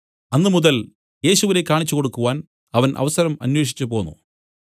അന്നുമുതൽ യേശുവിനെ കാണിച്ചുകൊടുക്കുവാൻ അവൻ അവസരം അന്വേഷിച്ചുപോന്നു